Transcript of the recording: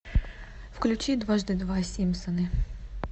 включи дважды два симпсоны